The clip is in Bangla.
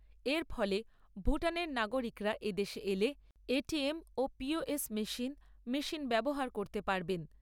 এর ফলে ভুটানের নাগরিকরা এদেশে এলে ও মেশিন ব্যবহার করতে পারবেন।